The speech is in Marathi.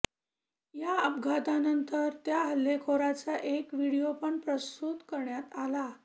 या अपघातानंतर त्या हल्लेखोराचा एक व्हिडियोपण प्रसृत करण्यात आला